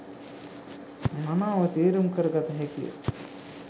මනාව තේරුම් කර ගත හැකි ය.